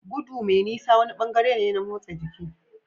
Gudu mai nisa wani bangare ne na motsa jiki.